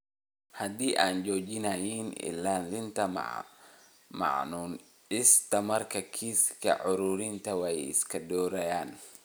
haddii ay joojiyaan ilaalinta mamnuucista markaa kiisaska cudurkani way sii kordhayaan.